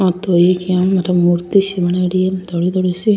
आ तो एक इया मूर्ति सी बनायेडी है धोली धोली सी।